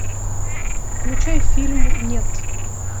включай фильм нет